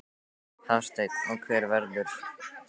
Hafsteinn: Og hver verðurðu í kvöld?